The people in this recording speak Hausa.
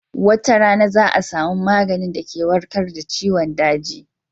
Wata rana za a samu maganin da ke warkad da ciwon daji